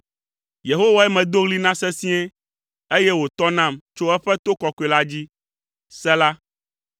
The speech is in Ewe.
Yehowae medo ɣli na sesĩe, eye wòtɔ nam tso eƒe to kɔkɔe la dzi. Sela